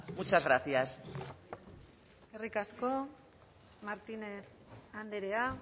muchas gracias eskerrik asko martínez andrea